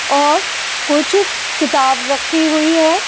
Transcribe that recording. और कुछ किताब रखी हुई है ।